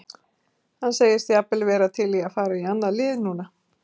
Hann segist jafnvel vera til í að fara í annað lið núna.